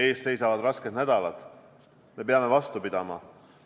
Esiteks, ees seisavad rasked nädalad, me peame vastu pidama.